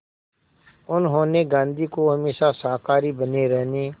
उन्होंने गांधी को हमेशा शाकाहारी बने रहने